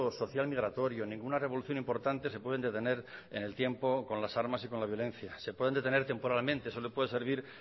social migratorio ninguna revolución importante se pueden detener en el tiempo con las armas y con la violencia se pueden detener temporalmente eso le puede servir